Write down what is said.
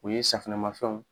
U ye safunɛmafɛnw.